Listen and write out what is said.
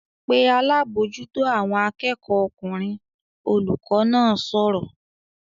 "Pe alábòójútó àwọn akẹ́kọ̀ọ́ ọkùnrin!" Olùkọ́ náà sọ̀rọ̀